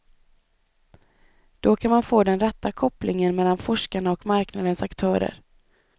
Då kan man få den rätta kopplingen mellan forskarna och marknadens aktörer.